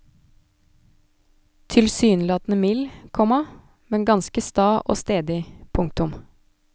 Tilsynelatende mild, komma men ganske sta og stedig. punktum